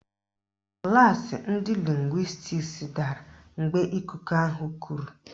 Klaasị ndị lịngwịstiks dara mgbe ikuku ahụ kuru.